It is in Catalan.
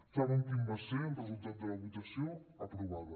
saben quin va ser el resultat de la votació aprovada